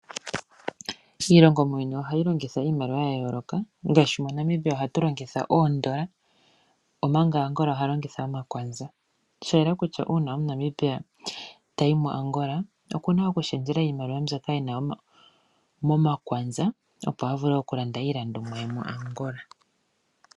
Iilongo muuyuni ohayi longitha iimaliwa ya yooloka ngaashi moNamibia ohatu longitha oondola omanga Angola aantu ohaya longitha omakwanza. Sha yela kutya uuna omu Namibia tayi mo Angola okuna oku shendjela iimaliwa mbyoka ena momakwanza opo a vule oku landa iilandomwa ye muAngola.